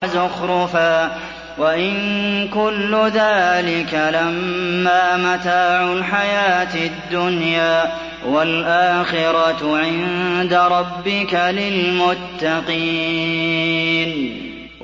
وَزُخْرُفًا ۚ وَإِن كُلُّ ذَٰلِكَ لَمَّا مَتَاعُ الْحَيَاةِ الدُّنْيَا ۚ وَالْآخِرَةُ عِندَ رَبِّكَ لِلْمُتَّقِينَ